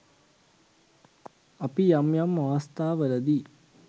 අපි යම් යම් අවස්ථාවලදී